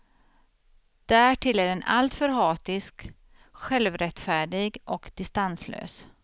Därtill är den alltför hatisk, självrättfärdig och distanslös.